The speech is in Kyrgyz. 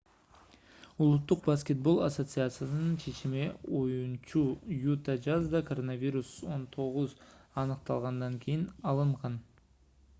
улуттук баскетбол ассоциациясынын чечими оюнчу юта жазда коронавирус-19 аныкталгандан кийин алынган